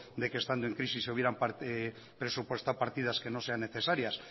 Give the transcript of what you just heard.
de que estando en crisis se hubieran presupuestado partidas que no sean necesarias